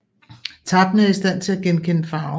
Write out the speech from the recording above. Tappene er i stand til at genkende farve